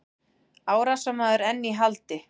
Árásarmaður enn í haldi